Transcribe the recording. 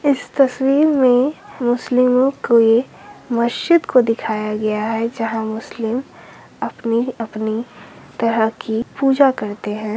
इस तस्वीर में मुस्लिमो के मस्जिद को दिखाया गया है | जहाँ मुस्लिम अपनी अपनी तरह की पूजा करते हैं।